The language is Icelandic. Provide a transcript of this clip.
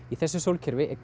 í þessu sólkerfi er